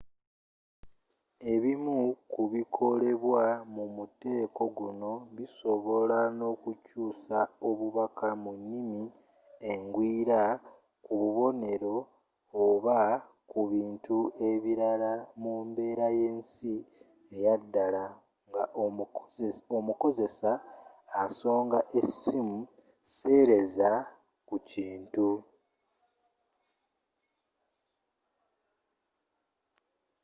ebimu kubikolebwa mumuteeko guno bisobola n'okukyuusa obubaka mu nimi engwira kububonero oba ebintu ebirala mumbeera yensi eyadala nga omukozesa asonga esimu seereza ku kintu